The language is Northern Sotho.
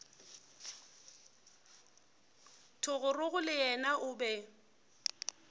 thogorogo le yena o be